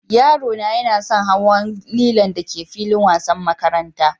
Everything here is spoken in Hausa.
Yaro na yana son hawan lilon da ke filin wasan makarantan.